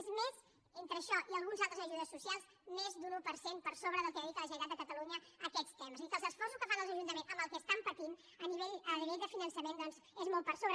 és més entre això i algunes altres ajudes socials d’un un per cent per sobre del que dedica la generalitat de catalunya a aquest tema és a dir que els esforços que fan els ajuntaments amb el que estan patint a nivell de finançament és molt per sobre